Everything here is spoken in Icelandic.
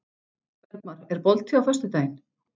Bergmar, er bolti á föstudaginn?